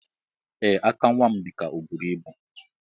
Ee aka nwam dika oburu ibu.